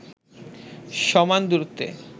সমান দূরত্বে